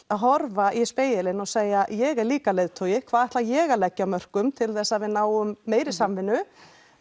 að horfa í spegilinn og segja ég er líka leiðtogi hvað ætla ég að leggja af mörkum til þess að við náum meiri samvinnu